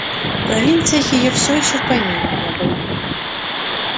в провинциях её все ещё в помине не было